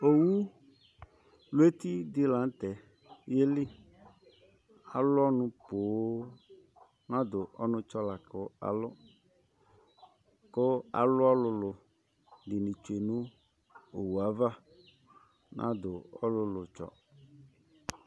Owu lũ eti di la n'tɛ yelí, alũ ɔnu põn, na du ɔnutsɔ la ku alũ ,ku alũ ɔlulu dini tsue nu owue ayava, kadu ɔlulu tsɔ